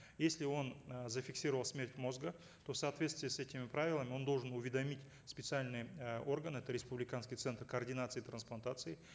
если он э зафиксировал смерть мозга то в соответствии с этими правилами он должен уведомить специальные э органы это республиканский центр координации транспланации